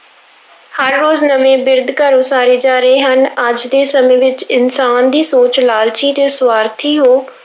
ਹਰ ਰੋਜ਼ ਨਵੇਂ ਬਿਰਧ ਘਰ ਉਸਾਰੇ ਜਾ ਰਹੇ ਹਨ, ਅੱਜ ਦੇ ਸਮੇਂ ਵਿੱਚ ਇਨਸਾਨ ਦੀ ਸੋਚ ਲਾਲਚੀ ਤੇ ਸਵਾਰਥੀ ਹੋ